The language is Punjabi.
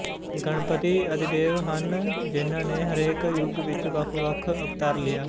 ਗਣਪਤੀ ਆਦਿਦੇਵ ਹਨ ਜਿਹਨਾਂ ਨੇ ਹਰੇਕ ਯੁੱਗ ਵਿੱਚ ਵੱਖਵੱਖ ਅਵਤਾਰ ਲਿਆ